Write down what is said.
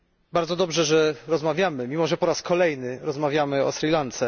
Bardzo dobrze, że rozmawiamy mimo że po raz kolejny rozmawiamy o Sri Lance.